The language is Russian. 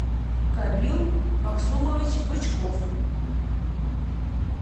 кабил максумович бычков